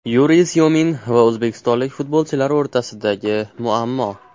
Yuriy Syomin va o‘zbekistonlik futbolchilar o‘rtasidagi muammo.